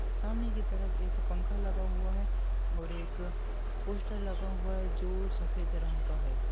सामने की तरफ एक पंखा लगा हुआ है और एक पोस्टर लगा हुआ है जो सफेद रंग का है।